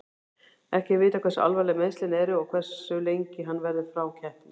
Ekki er vitað hversu alvarleg meiðslin eru og hversu lengi hann verður frá keppni.